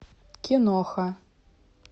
киноха